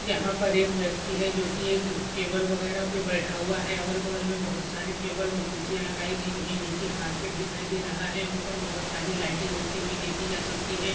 यहा पर एक व्यक्ती है जो की एक टेबल वगैरा पे बेठा हुआ है अगल बगल मे बहुत सारी टेबल व कुरसिया लगाई गई है नीचे कार्पेट दिखाई दे रहा है ऊपर बहुत सारी लाइटे जलती हुई देखि जा सकती है।